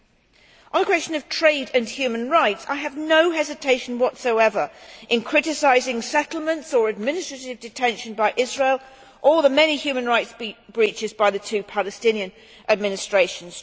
On the question of trade and human rights, I have no hesitation whatsoever in criticising settlements or administrative detention by Israel or the many human rights breaches by the two Palestinian administrations.